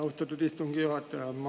Austatud istungi juhataja!